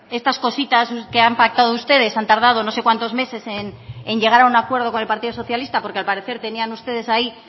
estas cositas que han pactado ustedes han tardado no sé cuántos meses en llegar a un acuerdo con el partido socialista porque al parecer tenían ustedes ahí